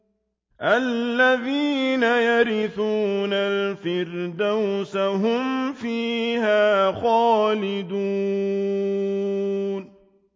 الَّذِينَ يَرِثُونَ الْفِرْدَوْسَ هُمْ فِيهَا خَالِدُونَ